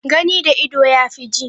Gani da ido yafi ji